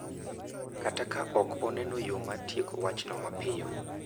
Kata ka ok oneno yo mar tieko wachno mapiyo.